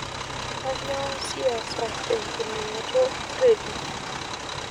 kanyoo siasa te kiningoto eredio